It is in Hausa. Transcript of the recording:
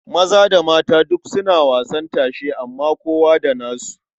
Maza da mata duk suna wasan tashe amma kowa da nasu.